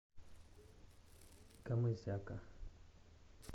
камызяка